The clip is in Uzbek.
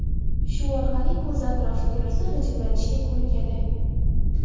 Shu orqali ko‘z atrofi terisi g‘ijimlanishga ko‘nikadi.